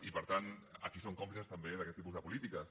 i per tant aquí són còmplices també d’aquest tipus de polítiques